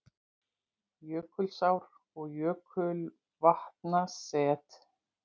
Jökulár- og jökulvatnaset